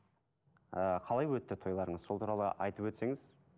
ы қалай өтті тойларыңыз сол туралы айтып өтсеңіз